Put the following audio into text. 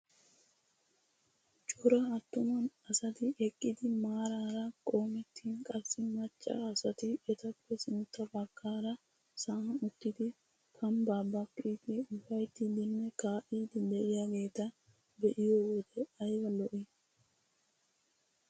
Cora attuma asati eqqidi maaraara qoomettin qassi macca asati etappe sintta baggaara sa'an uttidi kambbaa baaqqiidi ufayttidine kaa'iidi de'iyaageta be'iyoo wode ayba lo"ii!